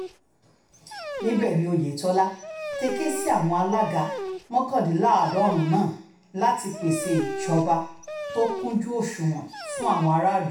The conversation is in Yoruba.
níbẹ̀ ni oyetola ti ké sí àwọn alága mọ́kàndínláàádọ́rùn-ún náà láti pèsè ìṣèjọba tó kúnjú òṣùnwọ̀n fún àwọn aráàlú